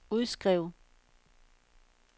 udskriv